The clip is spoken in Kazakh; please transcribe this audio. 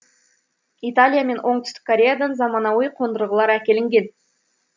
италия мен оңтүстік кореядан заманауи қондырғылар әкелінген